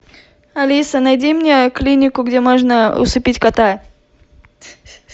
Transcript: алиса найди мне клинику где можно усыпить кота